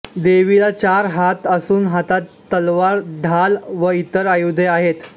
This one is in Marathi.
देवीला चार हात असून हातात तलवार ढाल व इतर आयुधे आहेत